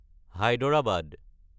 Hyderabad